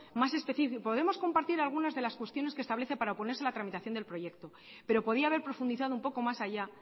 más específico podemos compartir algunas de las cuestiones que establece para oponerse a la tramitación del proyecto pero podía haber profundizado un poco más allá